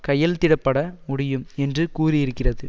கையெழுத்திடப்பட முடியும் என்று கூறியிருக்கிறது